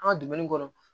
An ka dumuni kɔrɔ